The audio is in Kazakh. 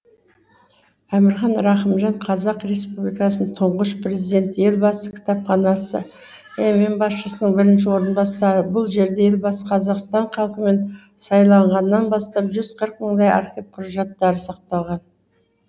әмірхан рақымжан қазақ республикасының тұңғыш президенті елбасы кітапханасы мм басшысының бірінші орынбасары бұл жерде елбасы қазақстан халқымен сайланғаннан бастап жүз қырық мыңдай архив құжаттары сақталған